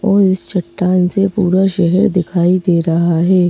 और इस चट्टान से पूरा शहर दिखाई दे रहा है।